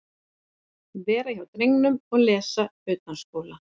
Vera hjá drengnum og lesa utanskóla.